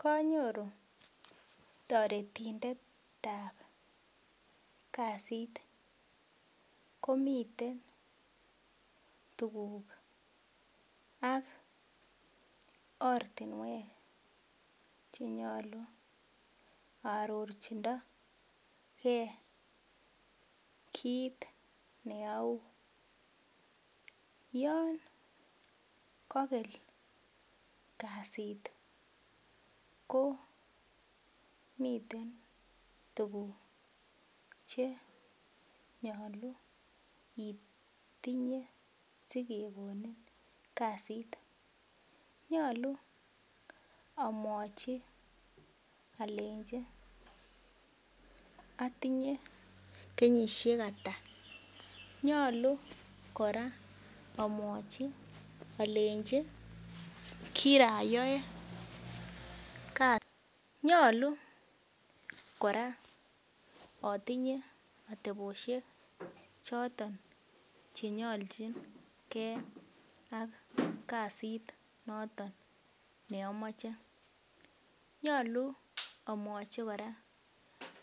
Kanyoru taretindet ab kasit komiten tuguk ak oratinwek chenyalu arorchindo ge kit neau yon kagel kasit ko miten tuguk Che nyalu itinye sikekonin kasit nyalu amwachi alenchi atinye kenyishek Ata nyalu koraa amwachi alenchi kirayae nyalu koraa atinye ateboshek choton chenyalchin ak kasit noton neamache nyalu amwachi koraa